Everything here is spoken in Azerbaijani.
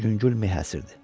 Yüngül mi həsir idi.